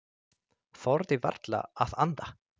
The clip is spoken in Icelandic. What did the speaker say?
Þorði varla að anda.